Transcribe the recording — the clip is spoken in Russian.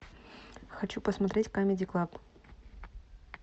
хочу посмотреть камеди клаб